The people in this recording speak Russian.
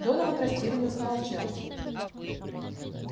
донован растерянно замолчал